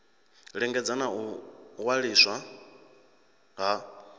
lingedza na u waliswa ha